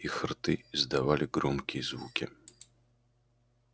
их рты издавали громкие звуки